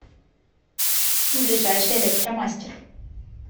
ближайший электромастер